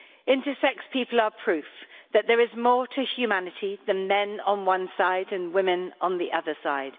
Intersex people are proof that there is more to humanity than men on one side and women on the other side.